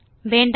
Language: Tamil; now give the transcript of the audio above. வேண்டாம்